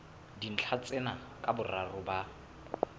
dintlha tsena ka boraro ba